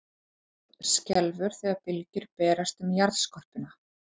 Jörð skelfur þegar bylgjur berast um jarðskorpuna.